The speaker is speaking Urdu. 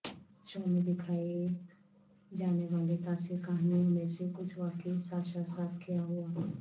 شو میں دکھائے جانے والے تاثر کہانیوں میں سے کچھ واقعی ساشا ساتھ کیا ہوا